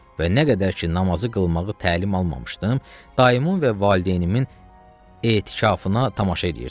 Və nə qədər ki namazı qılmağı təlim almamışdım, dayımın və valideynimin etikafına tamaşa eləyirdim.